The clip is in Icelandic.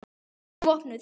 Vertu vopnuð.